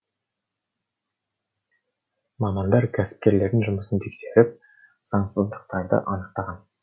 мамандар кәсіпкерлердің жұмысын тексеріп заңсыздықтарды анықтаған